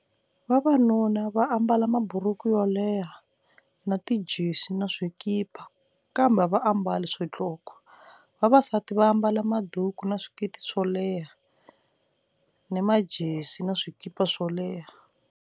Vavanuna va ambala maburuku yolehha na tijesi na swikipa kambe a va ambali swidloko, vavasati va ambala maduku na swiketi swo leha ni majezi na swikipa swo leha.